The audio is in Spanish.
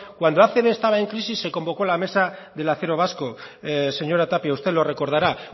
cuando acb estaba en crisis se convocó la mesa del acero vasco señora tapia usted lo recordará